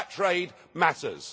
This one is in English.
That trade matters.